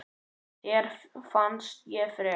Þér fannst ég frek.